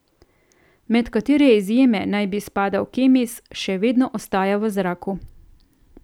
Med katere izjeme naj bi spadal Kemis, še vedno ostaja v zraku.